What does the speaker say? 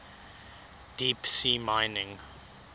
deep sea mining